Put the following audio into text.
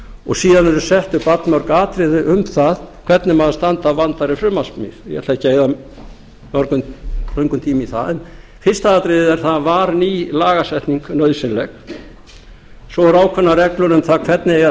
og síðan eru sett upp allmörg atriði um það hvernig maður standi að vandaðri frumvarpssmíð og ég ætla ekki að eyða löngum tíma í það en fyrsta atriðið er það var ný lagasetning nauðsynleg svo eru ákveðnar reglur um það hvernig eigi að